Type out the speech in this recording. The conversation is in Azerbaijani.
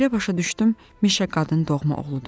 Belə başa düşdüm, Mişa qadının doğma oğludur.